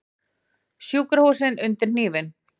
Sjúkrahúsin undir hnífinn